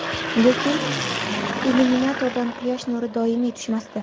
Lekin illyuminatordan quyosh nuri doimiy tushmasdi.